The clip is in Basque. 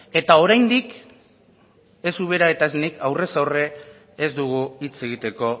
eta oraindik ez ubera eta ez nik aurrez aurre ez dugu hitz egiteko